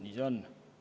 Nii see on.